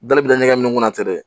Dali bɛ taa ɲɛgɛn ŋunna ten dɛ